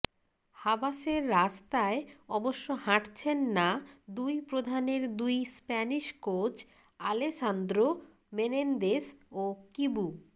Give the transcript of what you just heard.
হাবাসের রাস্তায় অবশ্য হাঁটছেন না দুই প্রধানের দুই স্প্যানিশ কোচ আলেসান্দ্রো মেনেন্দেস ও কিবু